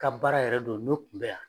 Ka baara yɛrɛ do n'o kun bɛ yan.